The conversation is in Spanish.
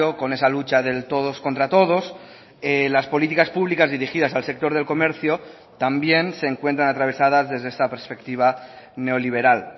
con esa lucha del todos contra todos las políticas públicas dirigidas al sector del comercio también se encuentran atravesadas desde esta perspectiva neoliberal